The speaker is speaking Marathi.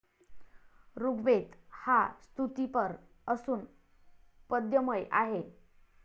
ऋग्वेद हा स्तुतीपर असून पद्यमय आहे.